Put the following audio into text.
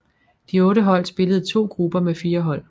De otte hold spillede i to grupper med fire hold